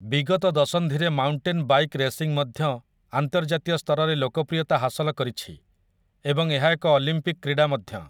ବିଗତ ଦଶନ୍ଧିରେ mountain bike racing ମଧ୍ୟ ଆନ୍ତର୍ଜାତୀୟ ସ୍ତରରେ ଲୋକପ୍ରିୟତା ହାସଲ କରିଛି ଏବଂ ଏହା ଏକ ଅଲିମ୍ପିକ୍ କ୍ରୀଡ଼ା ମଧ୍ୟ ।